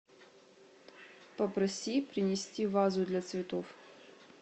попроси принести вазу для цветов